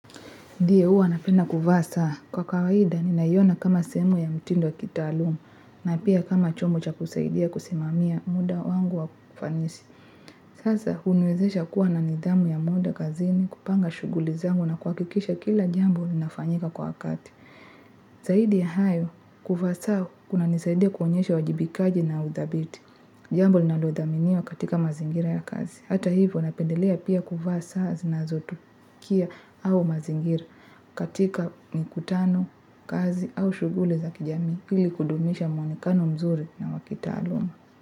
Ndiyo huwa napenda kuvaa saa kwa kawaida ninaiona kama sehemu ya mtindo ya kitaalumu na pia kama chombo cha kusaidia kusimamia muda wangu wa kufanisi. Sasa hunuwezesha kuwa na nidhamu ya muda kazini, kupanga shuguli zangu na kuhakisha kila jambo linafanyika kwa wakati. Zaidi ya hayo kuvaa saa kunanisaidia kuonyesha uwajibikaji na udhabiti. Jambo linalodhaminiwa katika mazingira ya kazi. Hata hivyo napendelea pia kuvaa saa zinazotukia au mazingira. Katika mkutano, kazi au shuguli za kijamii ili kudumisha mwonekano mzuri na wa kitaalum.